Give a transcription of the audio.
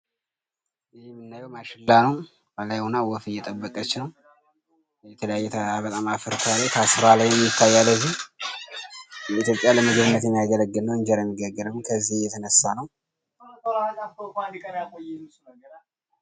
ይህ የምናየው ማሽላ ነው። ከላይ ሁና ወፍ እየጠበቀች ነው። የተለያየ በጣም አፈር ያለው ይታያል እዚህ። ለኢትዮጵያ ለምግብነት የሚያገለግል ነው። እንጀራ የሚጋገር ነው። ከዚህ የተነሳ ነው።